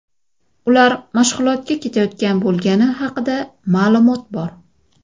Ular mashg‘ulotga ketayotgan bo‘lgani haqida ma’lumot bor.